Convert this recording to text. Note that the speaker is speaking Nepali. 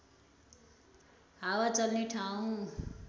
हावा चल्ने ठाउँ